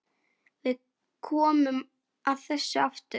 Við komum að þessu aftur.